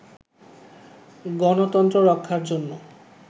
গণতন্ত্র রক্ষার জন্য